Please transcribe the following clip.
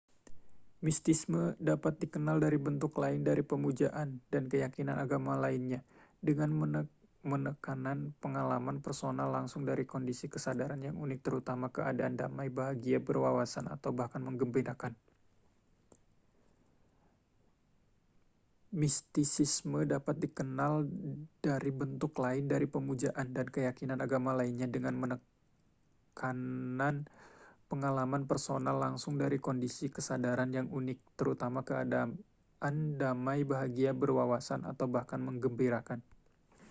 mistisisme dapat dikenal dari bentuk lain dari pemujaan dan keyakinan agama lainnya dengan menekanan pengalaman personal langsung dari kondisi kesadaran yang unik terutama keadaan damai bahagia berwawasan atau bahkan menggembirakan